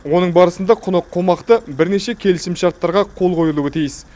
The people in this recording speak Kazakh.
оның барысында құны қомақты бірнеше келісімшарттарға қол қойылуы тиіс